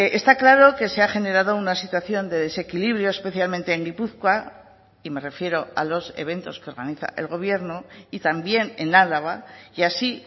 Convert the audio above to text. está claro que se ha generado una situación de desequilibrio especialmente en gipuzkoa y me refiero a los eventos que organiza el gobierno y también en álava y así